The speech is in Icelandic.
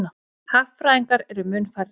Hagfræðingar eru mun færri.